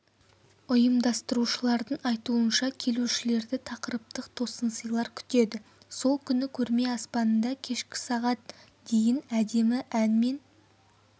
ұйымдастырушылардың айтуынша келушілерді тақырыптық тосынсыйлар күтеді сол күні көрме аспанында кешкі сағат дейін әдемі ән мен